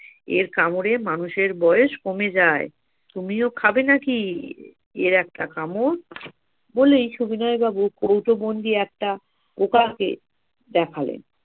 এর কামড়ে মানুষের বয়স কমে যায় তুমিও খাবে নাকি এর একটা কামড়? বলেই সবিনয় বাবু কৌটো বন্দি একটা পোকাকে দেখালেন